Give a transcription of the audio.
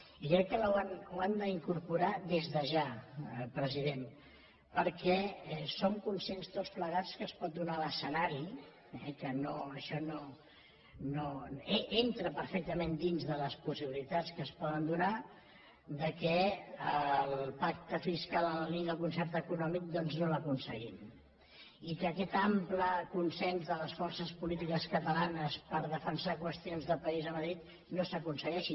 i crec que ho han d’incorporar des de ja president perquè som conscients tots plegats que es pot donar l’escenari entra perfectament dins de les possibilitats que es poden donar que el pacte fiscal en la línia del concert econòmic doncs no l’aconseguim i que aquest ample consens de les forces polítiques catalanes per defensar qüestions de país a madrid no s’aconsegueixi